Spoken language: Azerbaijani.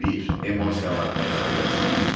Bir: Emosiyalar həyatı bəzəyir?